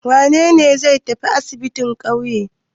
Wane ne zai tafi asibin ƙauye?